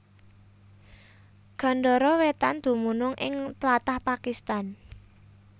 Gandhara Wétan dumunung ing tlatah Pakistan